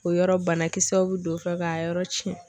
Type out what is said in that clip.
O yɔrɔ banakisɛw bɛ don o fɛ k'a yɔrɔ tiɲɛ.